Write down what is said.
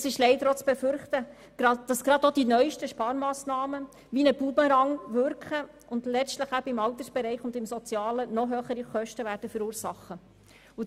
Es ist leider auch zu befürchten, dass gerade die neusten Sparmassnahmen wie ein Bumerang wirken und letztlich im Alters- und Sozialbereich noch höhere Kosten verursachen werden.